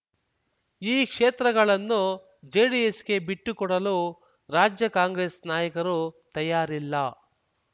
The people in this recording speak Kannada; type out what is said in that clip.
ಈ ಕ್ಷೇತ್ರಗಳನ್ನು ಜೆಡಿಎಸ್‌ಗೆ ಬಿಟ್ಟು ಕೊಡಲು ರಾಜ್ಯ ಕಾಂಗ್ರೆಸ್ ನಾಯಕರು ತಯಾರಿಲ್ಲ